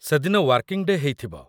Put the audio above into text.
ସେଦିନ working day' ହେଇଥିବ ।